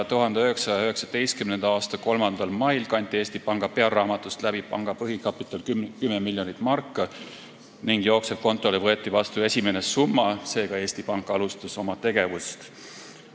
1919. aasta 3. mail kanti Eesti Panga pearaamatust läbi panga põhikapital 10 miljonit marka ning jooksevkontole võeti vastu esimene summa, seega Eesti Pank alustas oma tegevust.